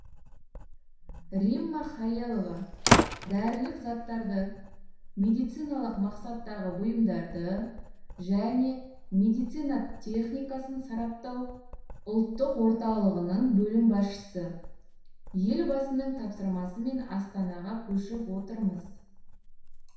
римма халелова дәрілік заттарды медициналық мақсаттағы бұйымдарды және медицина техникасын сараптау ұлттық орталығының бөлім басшысы елбасының тапсырмасымен астанаға көшіп отырмыз